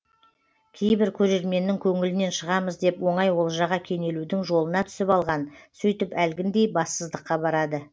кейбір көрерменнің көңілінен шығамыз деп оңай олжаға кенелудің жолына түсіп алған сөйтіп әлгіндей бассыздыққа барады